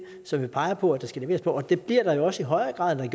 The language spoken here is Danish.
som vi peger på at der skal leveres på og det bliver der også i højere grad end